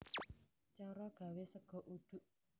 Cara gawé sega uduk